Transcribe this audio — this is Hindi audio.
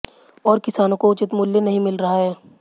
और किसानों को उचित मूल्य नहीं मिल रहा है